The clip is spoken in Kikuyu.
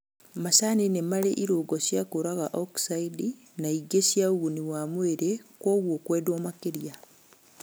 Macani nĩmarĩ irũngo cia kũraga oksaidi na ingĩ cia ũguni wa mwĩlĩ koguo makendwo makĩria